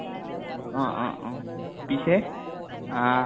অ অ অ । পিছে আহ